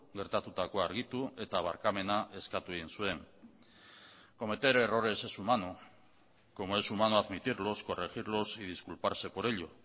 gertatutakoa argitu eta barkamena eskatu egin zuen cometer errores es humano como es humano admitirlos corregirlos y disculparse por ello